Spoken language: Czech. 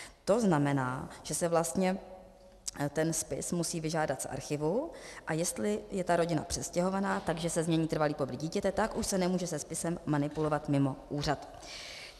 To znamená, že se vlastně ten spis musí vyžádat z archívu, a jestli je ta rodina přestěhovaná, takže se změní trvalý pobyt dítěte, tak už se nemůže se spisem manipulovat mimo úřad.